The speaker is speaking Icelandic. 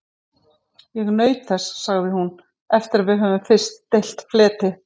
Ég naut þess sagði hún, eftir að við höfðum fyrst deilt fleti.